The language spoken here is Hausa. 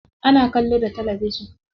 Ana kallo da talabijin.